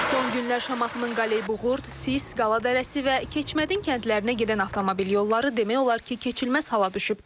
Son günlər Şamaxının Qaleybuğurd, Sis, Qala Dərəsi və Keçmədin kəndlərinə gedən avtomobil yolları demək olar ki, keçilməz hala düşüb.